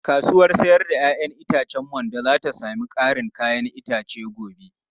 Kasuwar 'ya'yan itacen Mando za ta sami karin 'ya'yan itace gobe.